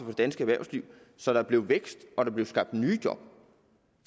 det danske erhvervsliv så der blev vækst og der blev skabt nye job